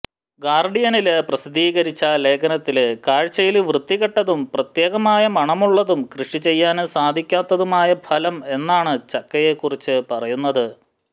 ഗര്ഡിയനില് പ്രസിദ്ധീകരിച്ച ലേഖനത്തില് കഴ്ചയില് വൃത്തികെട്ടതും പ്രത്യേകമായ മണമുള്ളതും കൃഷി ചെയ്യാന് സാധിക്കാത്തതുമായ ഫലം എന്നാണ് ചക്കയെ കുറിച്ച് പറയുന്നത്